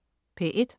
P1: